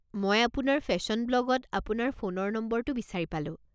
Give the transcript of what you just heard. মই আপোনাৰ ফেশ্বন ব্লগত আপোনাৰ ফোনৰ নম্বৰটো বিচাৰি পালোঁ।